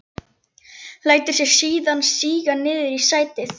Lætur sig síðan síga niður í sætið.